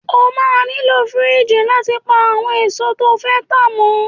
O máa nílò fíríjì láti pa àwọn èso tó fẹ́ tá mọ́.